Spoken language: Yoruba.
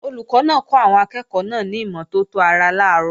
Olùkọ́ náà kọ́ àwọn akẹ́ẹ̀kọ́ náà ní ìmọ́tótó ara làárọ̀